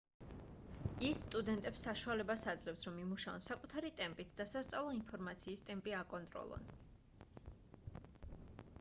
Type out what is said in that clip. ის სტუდენტებს საშუალებას აძლევს რომ იმუშაონ საკუთარი ტემპით და სასწავლო ინფორმაციის ტემპი აკონტროლონ